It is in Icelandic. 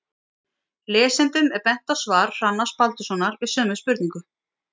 lesendum er bent á svar hrannars baldurssonar við sömu spurningu